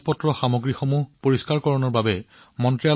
এই অভিযানৰ পৰা কেইটামান ডাঙৰ আকৰ্ষণীয় বস্তু সম্পন্ন হৈছে